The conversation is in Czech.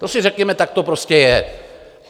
To si řekněme, tak to prostě je.